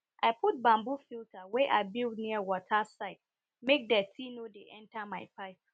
i put bamboo filter wey i build near water side make dirty no dey enter my pipe